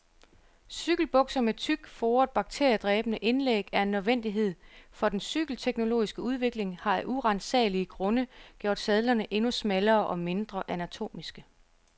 Cykelbukser med tykt, foret bakteriedræbende indlæg er en nødvendighed, for den cykelteknologiske udvikling har af uransagelige grunde gjort sadlerne endnu smallere og mindre anatomiske.